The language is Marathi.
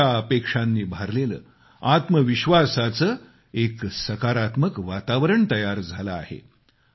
आशा अपेक्षांनी भारलेले आत्मविश्वासाचे एक सकारात्मक वातावरण तयार झाले आहेत